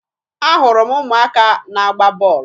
Ahụrụ m ụmụaka na-agba bọọlụ